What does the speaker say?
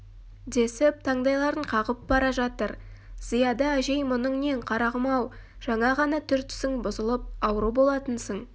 десіп таңдайларын қағып бара жатыр зияда әжей мұның нең қарағым-ау жаңа ғана түр-түсің бұзылып ауру болатынсың